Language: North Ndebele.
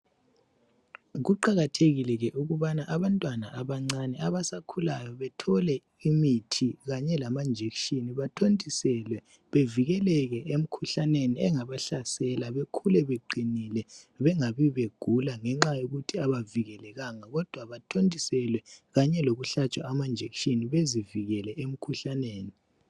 Kuqakathekile ke ukubana abantwana abancane, abasakhulayo bethole imithi kanye lama injection, bathontiselwe, bevikeleke emkhuhlaneni engabahlasela bekhule beqinile. Bengabi begula ngenxa yokuthi abavikelekanga kodwa bathontiselwe kanye lokuhlatshwa ama injection bezivikele umkhuhlaneni.